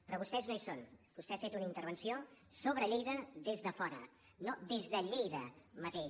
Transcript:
però vostès no hi són vostè ha fet una intervenció sobre lleida des de fora no des de lleida mateix